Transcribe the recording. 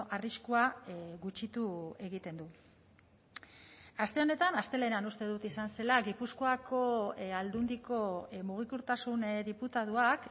arriskua gutxitu egiten du aste honetan astelehenean uste dut izan zela gipuzkoako aldundiko mugikortasun diputatuak